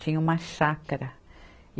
Tinha uma chácara.